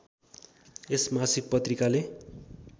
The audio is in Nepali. यस मासिक पत्रिकाले